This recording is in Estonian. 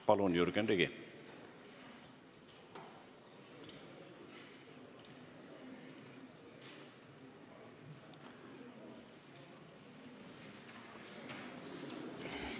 Palun, Jürgen Ligi!